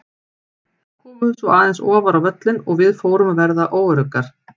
Þær komu svo aðeins ofar á völlinn og við fórum að verða óöruggar.